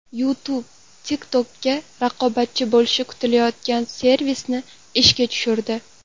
YouTube TikTok’ga raqobatchi bo‘lishi kutilayotgan servisni ishga tushirdi.